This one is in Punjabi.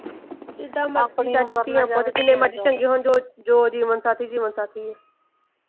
ਜਿਦਾਂ ਮਰਜ਼ੀ ਚਾਚੀ ਆਪਾਂ ਜਿੰਨੇ ਮਰਜ਼ੀ ਚੰਗੇ ਹੋਣ ਜੋ ਜੋ ਜੀਵਨ ਸਾਥੀ ਜੀਵਨ ਸਾਥੀ ਆ।